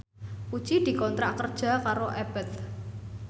Puji dikontrak kerja karo Abboth